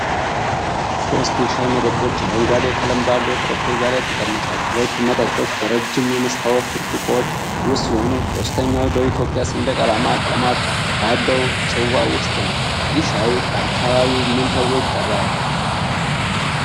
ሶስት የሻይ መጠጦች አረንጓዴ ቀለም ባለው ጠረጴዛ ላይ ተቀምጠዋል። ሁለቱ መጠጦች በረጃጅም የመስታወት ብርጭቆዎች ውስጥ ሲሆኑ፣ ሶስተኛው በኢትዮጵያ ሰንደቅ ዓላማ ቀለማት ባለው ጽዋ ውስጥ ነው። ይህ ሻይ በአካባቢው ምን ተብሎ ይጠራል?